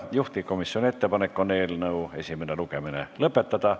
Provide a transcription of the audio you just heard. Juhtivkomisjoni ettepanek on eelnõu esimene lugemine lõpetada.